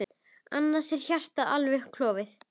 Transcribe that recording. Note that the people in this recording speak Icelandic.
Annars er hjartað alveg klofið.